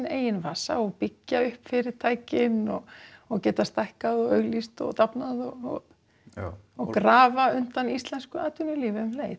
eigin vasa og byggja upp fyrirtækin og og geta stækkað og auglýst og dafnað og grafa undan íslensku atvinnulífi um leið